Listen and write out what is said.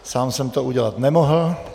Sám jsem to udělat nemohl.